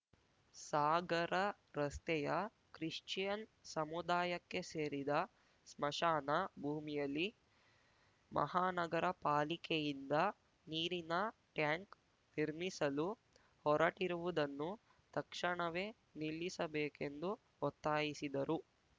ಸಾಗರ ರಸ್ತೆಯ ಕ್ರಿಶ್ಚಿಯನ್‌ ಸಮುದಾಯಕ್ಕೆ ಸೇರಿದ ಸ್ಮಶಾನ ಭೂಮಿಯಲ್ಲಿ ಮಹಾನಗರ ಪಾಲಿಕೆಯಿಂದ ನೀರಿನ ಟ್ಯಾಂಕ್‌ ನಿರ್ಮಿಸಲು ಹೊರಟಿರುವುದನ್ನು ತಕ್ಷಣವೇ ನಿಲ್ಲಿಸಬೇಕೆಂದು ಒತ್ತಾಯಿಸಿದರು